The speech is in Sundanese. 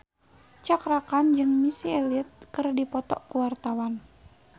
Cakra Khan jeung Missy Elliott keur dipoto ku wartawan